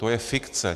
To je fikce.